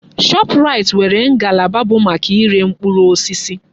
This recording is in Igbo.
Shọpraịt nwere ngalaba bụ maka iré mkpụrụ osisi.